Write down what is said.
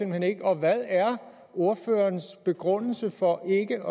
hen ikke og hvad er ordførerens begrundelse for ikke